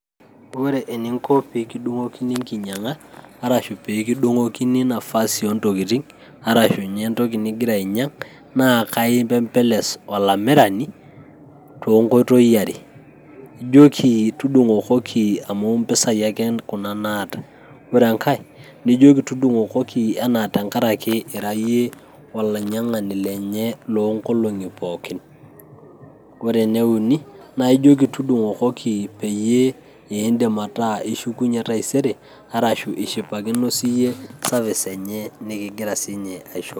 Ore ening'o pee kidung'okini eng'inyiang'a arashu pee kidung'okini enafasi oo ntokitin, arashu ninye entoki nigira ainyiang' naa kaipembeles alamirani too Nkoitoi are, ejoki tudung'okoki amu impisai ake Kuna naata, ore Enkae nijoki tudung'okoki tengaraki ira iyie olainyiang'ani lenye loongolon'gi pookin, naa ore ene uni naa ijoki tudung'okoki paa ore taisere naa eshukunyie arashu eshipakuno siyie service enye nikigira siinye asho.